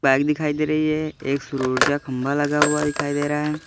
Bike दिखाई दे रही है एक सूर्य ऊर्जा खम्भा लगा हुआ दिखाई दे रहा है।